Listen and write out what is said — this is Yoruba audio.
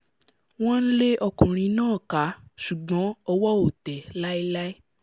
wọ́n ń lé ọkùnrin náà ká ṣùgbọ́n ọwọ́ ò tẹ̀ẹ́ láilái